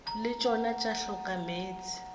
le tšona tša hloka meetse